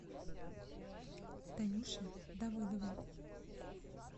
танюше давыдовой